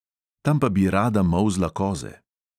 Tam pa bi rada molzla koze.